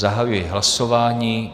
Zahajuji hlasování.